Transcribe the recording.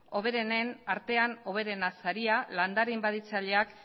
hoberenen artean hoberena saria landare inbaditzaileak